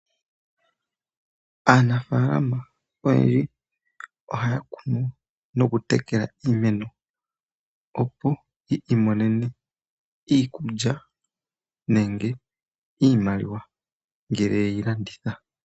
Aanafalama oyendji ohaya kunu noku tekela iimeno, opo yiimonene iikulya nenge iimaliwa ngele ye yi landitha.